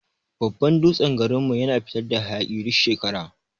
Babban dutsen garin mu yana fitar da hayaki duk shekara.